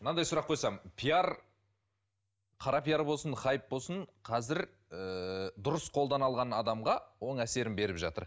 мынандай сұрақ қойсам пиар қара пиар болсын хайп болсын қазір ііі дұрыс қолдана алған адамға оң әсерін беріп жатыр